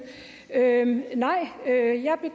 nej